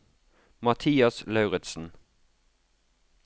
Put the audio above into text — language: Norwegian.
Mathias Lauritsen